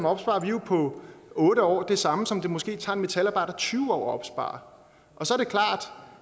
opsparer vi jo på otte år det samme som det måske tager en metalarbejder tyve år at opspare